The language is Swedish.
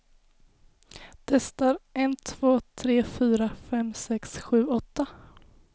Testar en två tre fyra fem sex sju åtta.